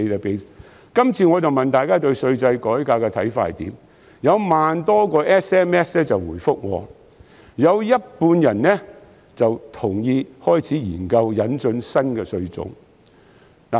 這次是問大家對稅制改革的看法，結果有1萬多個 SMS 回覆，有半數人同意開始研究引進新的稅種。